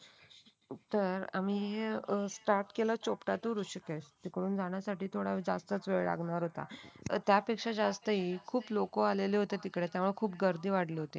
तर आम्ही स्टार्ट केलं चोपटा तून ऋषिकेश इकडून जाण्यासाठी थोडा जास्त वेळ लागणार होता. त्यापेक्षा जास्त ही खूप लोक आलेले होतेतिकडे केव्हा खूप गर्दी वाढली होती.